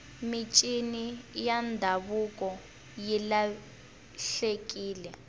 mincini ya ndhavuko yi lahlekile